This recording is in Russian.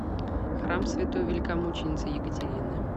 храм святой великомученицы екатерины